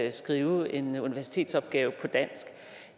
at skrive en universitetsopgave på dansk